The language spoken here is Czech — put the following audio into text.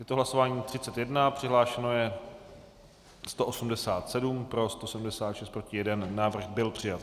Je to hlasování 31, přihlášeno je 187, pro 176, proti 1, návrh byl přijat.